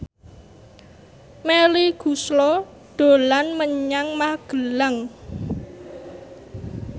Melly Goeslaw dolan menyang Magelang